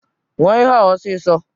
Ñua ihe a ọsịsọ!